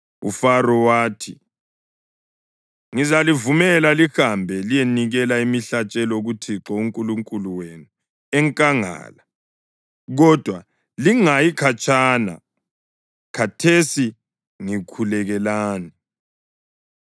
UFaro wathi, “Ngizalivumela lihambe liyenikela imihlatshelo kuThixo uNkulunkulu wenu enkangala, kodwa lingayi khatshana. Khathesi ngikhulekelani.”